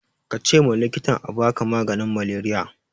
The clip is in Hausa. kace ma likitan abaka maganin maleriya